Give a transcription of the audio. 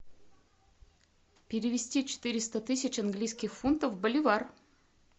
перевести четыреста тысяч английских фунтов в боливар